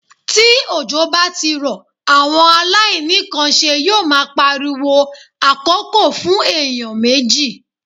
Tí òjò bá ti rọ̀, àwọn aláìní kan nṣe yó ma pariwo àkókò fún èèyàn méjì.